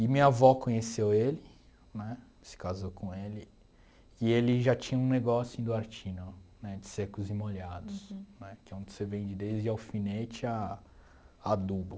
E minha avó conheceu ele, né, se casou com ele, e ele já tinha um negócio em Duartino, né, de secos e molhados, né, que é onde você vende desde alfinete a adubo.